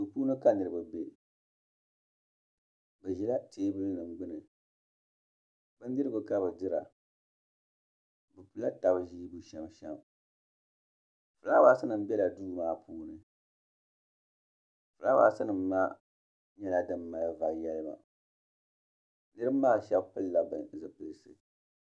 Duu puuni ka niriba bɛ bi ʒila teebuli nim gbuni bindirigu ka bi dira bi pula taba ʒii bu sham sham filaawaas nima bɛla duu maa puuni filaawaas nim maa nyɛla din mali vari yalima niriba maa shɛba pili la zipilisi.